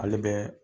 Ale bɛ